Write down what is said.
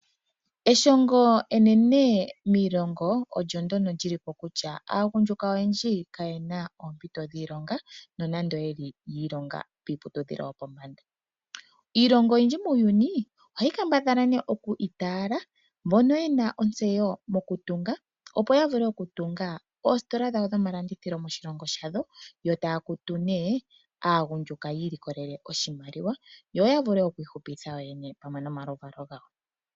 Eshongo enene moshilongo olyo ndyoka li li po kutya aagundjuka oyendji kaye na oompito dhiilonga, nonando ye li yi ilonga kiiputudhilo yopombanda. Iilongo oyindji muuyuni ohayi kambadhala nduno okwiitaala mbono ye na ontseyo mokutunga opo ya vule okutunga oositola dhawo dhomalandithilo moshilongo shawo yo taya kutu nduno aagundjuka yi ilikolele oshimaliwa, yo ya vule okwiihupitha yoyene pamwe nomaluvalo gawo.